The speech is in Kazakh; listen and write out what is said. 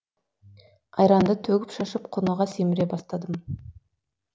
айранды төгіп шашып құныға сіміре бастадым